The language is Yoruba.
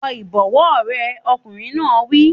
Wọ ìbọ̀wọ́ rẹ! Ọkùnrin náà wí.